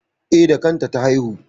E, da kanta ta haihu.